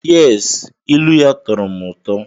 Yes, ilu ya tọọrọ m ụtọ.